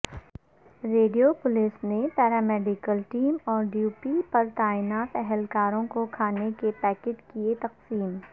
radio police نے paramedical team اورڈیوپی پرتعینات اہلکاروں کوکھانے کے پیکٹ کئے تقسیم